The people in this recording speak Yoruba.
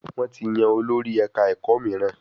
Wọ́n ti yan olórí ẹ̀ka ẹ̀kọ́ mííràn.